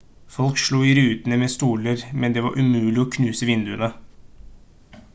folk slo i rutene med stoler men det var umulig å knuse vinduene